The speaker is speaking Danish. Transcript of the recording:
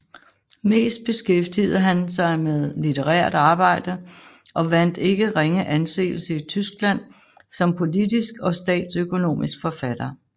Mest beskæftigede han sig med litterært arbejde og vandt ikke ringe anseelse i Tyskland som politisk og statsøkonomisk forfatter